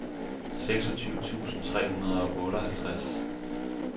seksogtyve tusind tre hundrede og otteoghalvtreds